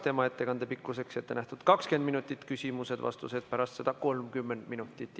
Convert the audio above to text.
Tema ettekande pikkuseks on ette nähtud 20 minutit, küsimused ja vastused pärast seda on 30 minutit.